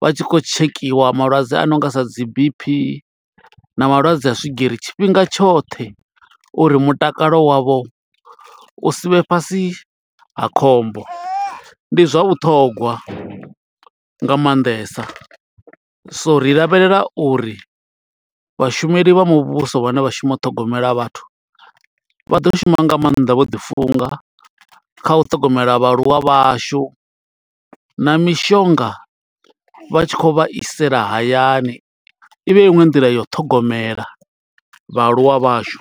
vha tshi khou tshekhiwa malwadze a no nga sa dzi B_P na malwadze a swigiri, tshifhinga tshoṱhe uri mutakalo wavho u sivhe fhasi ha khombo. Ndi zwa vhuṱhongwa nga maanḓesa, so ri lavhelela uri vhashumeli vha muvhuso vhane vha shuma u ṱhogomela vhathu vha ḓo shuma nga maanḓa vho ḓi funga. Kha u ṱhogomela vhaaluwa vhashu, na mishonga vha tshi khou vha isela hayani. I vha i iṅwe nḓila ya u ṱhogomela vhaaluwa vhashu.